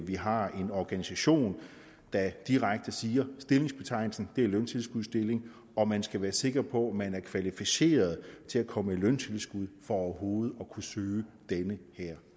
vi har en organisation der direkte siger at stillingsbetegnelsen er en løntilskudsstilling og at man skal være sikker på at man er kvalificeret til at komme i løntilskud for overhovedet at kunne søge denne